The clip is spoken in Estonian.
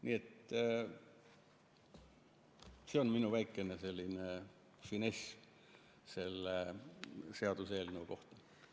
Nii et see on minu väike selline finess selle seaduseelnõu kohta.